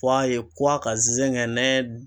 Fɔ a ye ko a ka zɛgɛnɛ